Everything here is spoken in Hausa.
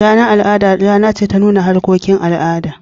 Ranar al'ada rana ce ta nuna harkokin al'adu.